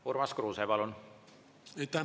Urmas Kruuse, palun!